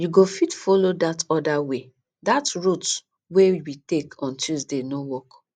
you go fit follow dat other way dat route wey we take on tuesday no work